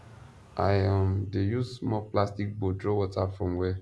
i um dey use small plastic bowl draw water from welll